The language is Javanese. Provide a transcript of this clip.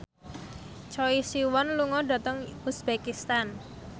Choi Siwon lunga dhateng uzbekistan